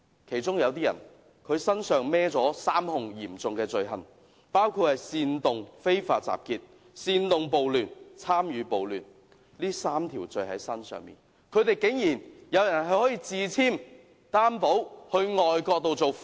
其中有部分暴亂發動者身負3項嚴重控罪，包括煽動非法集結、煽動暴亂及參與暴亂，但他們有人竟然可以自簽擔保到外國受訪。